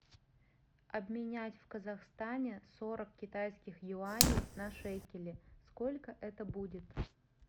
обменять в казахстане сорок китайских юаней на шекели сколько это будет